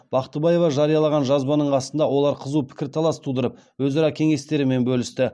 бақтыбаева жариялаған жазбаның астында олар қызу пікірталас тудырып өзара кеңестерімен бөлісті